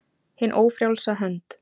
HIN ÓFRJÁLSA HÖND